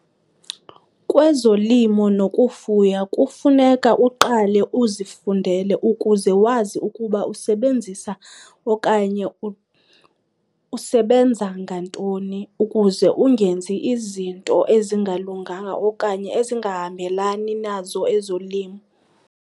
Kwezolimo nokufuya kufuneka uqale uzifundele ukuze wazi ukuba usebenzisa okanye usebenza ngantoni, ukuze ungenzi izinto ezingalunganga okanye ezingahambelani nazo ezolimo.